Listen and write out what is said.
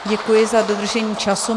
Děkuji za dodržení času.